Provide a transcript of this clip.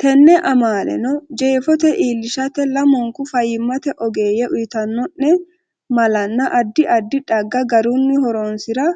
Tenne amaale’neno jeefo iillishate lamunku fayyimmate ogeeyye uyitanno’ne malanna addi addi xagga garunni horonsi’ra